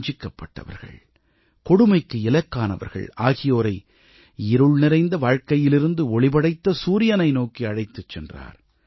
வஞ்சிக்கப்பட்டவர்கள் கொடுமைக்கு இலக்கானவர்கள் ஆகியோரை இருள் நிறைந்த வாழ்க்கையிலிருந்து ஒளிபடைத்த சூரியனை நோக்கி அழைத்துச் சென்றார்